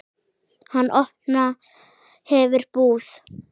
Hann opna hefur búð.